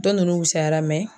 Dɔ nunnu wusayara